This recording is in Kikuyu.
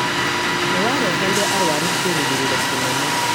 nĩ wareheire arũaru kĩĩrĩgĩrĩro kĩnene.